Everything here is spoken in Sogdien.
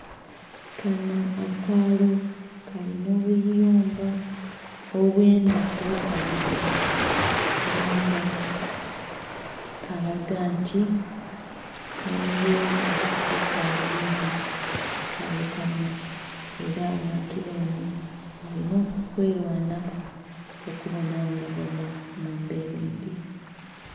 Kano akaalo kalina obuyumba obwendha ofanhaganha. Era nga kalaga nti embeera ekaali mbi ku kaalo kano. Era abantu benhe balina okwelwanaku okubona nga bava mu mbeera embi.